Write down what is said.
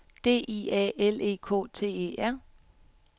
D I A L E K T E R